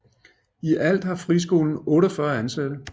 I alt har friskolen 48 ansatte